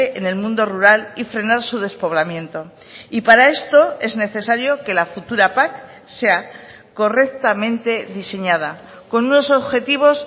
en el mundo rural y frenar su despoblamiento y para esto es necesario que la futura pac sea correctamente diseñada con unos objetivos